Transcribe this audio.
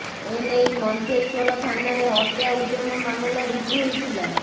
ଏନେଇ ମଞ୍ଚେଶ୍ୱର ଥାନାରେ ହତ୍ୟା ଉଦ୍ୟମ ମାମଲା ରୁଜୁ ହୋଇଥିଲା